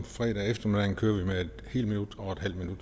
fredag eftermiddag kører vi med et helt minut og et halvt minut